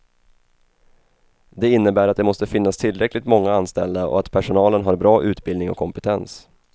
Det innebär att det måste finnas tillräckligt många anställda och att personalen har bra utbildning och kompetens.